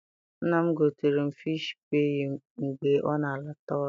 Nna m gotere m fishi paayị mgbe ọ na-ala ta ọrụ.